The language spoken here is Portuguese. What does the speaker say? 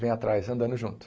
Vem atrás, andando junto.